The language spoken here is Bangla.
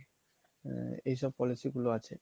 এইসব পলিসি গুলো আছে